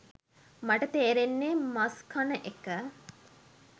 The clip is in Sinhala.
මට තේරෙන්නේ මස් කන එක